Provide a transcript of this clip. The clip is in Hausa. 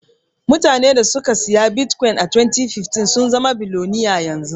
Mutanan da suka siyi bitkwin a 2015 sun zama biloniya yanzu.